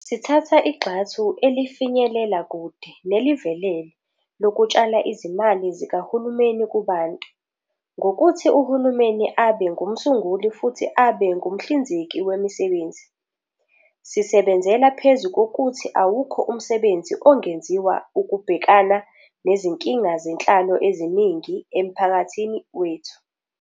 Sithatha igxathu elifinyelela kude nelivelele lokutshala izimali zikahulumeni kubantu, ngokuthi uhulumeni abe ngumsunguli futhi abe ngumhlinzeki wemisebenzi. Sisebenzela phezu kokuthi awukho umsebenzi ongenziwa ukubhekana nezinkinga zenhlalo eziningi emphakathini wethu.